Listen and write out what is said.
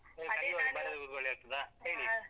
ಕುತ್ಕೊಳ್ಳಿಕ್ಕೆ ಆಗ್ತದಾ ಹೇಳಿ?